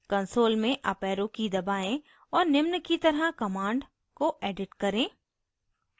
console में up arrow की दबाएं और निम्न की तरह command को edit करें: